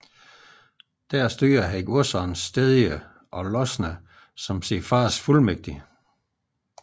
Der styrede han godserne Stedje og Losne som sin fars fuldmægtig